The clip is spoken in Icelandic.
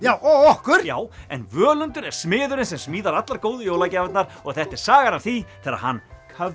og okkur já en Völundur er smiðurinn sem smíðar allar góðu jólagjafirnar og þetta er sagan af því þegar hann